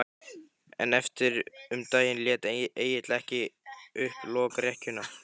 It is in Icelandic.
En eftir um daginn lét Egill ekki upp lokrekkjuna.